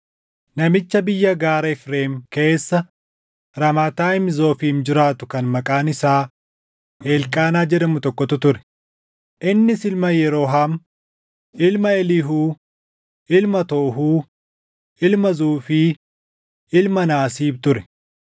Namicha biyya gaara Efreem keessa Raamaatayiim Zoofiim jiraatu kan maqaan isaa Elqaanaa jedhamu tokkotu ture; innis ilma Yeroohaam, ilma Eliihuu, ilma Toohuu, ilma Zuufi, ilma Naasiib ture.